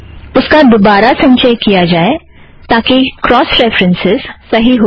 उसका दोबारा संचय किया जाए ताकि क्रौस रेफ़रन्सस् सही हो जाए